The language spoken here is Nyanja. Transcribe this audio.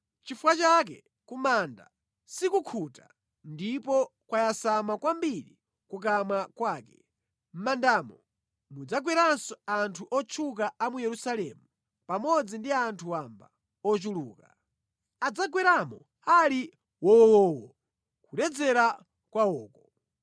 Nʼchifukwa chake ku manda sikukhuta ndipo kwayasama kwambiri kukamwa kwake; mʼmandamo mudzagweranso anthu otchuka a mu Yerusalemu pamodzi ndi anthu wamba ochuluka; adzagweramo ali wowowo, nʼkuledzera kwawoko.